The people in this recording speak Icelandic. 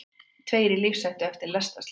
Tveir í lífshættu eftir lestarslys